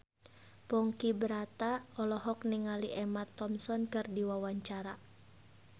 Ponky Brata olohok ningali Emma Thompson keur diwawancara